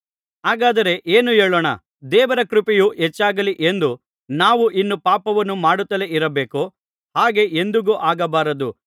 ಹಾಗಾದರೆ ಏನು ಹೇಳೋಣ ದೇವರ ಕೃಪೆಯು ಹೆಚ್ಚಾಗಲಿ ಎಂದು ನಾವು ಇನ್ನೂ ಪಾಪವನ್ನು ಮಾಡುತ್ತಲೇ ಇರಬೇಕೋ ಹಾಗೆ ಎಂದಿಗೂ ಹಾಗಾಗಬಾರದು